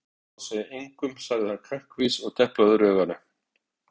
Ég lofa að segja engum sagði hann kankvís og deplaði öðru auganu.